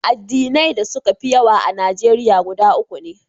Addinai da suka fi yawa a Najeriya guda uku ne.